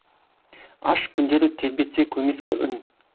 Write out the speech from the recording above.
аш күндер тербетсе көмескі үн